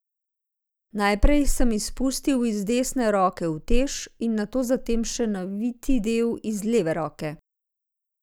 Najprej sem izpustil iz desne roke utež in takoj zatem še naviti del iz leve roke.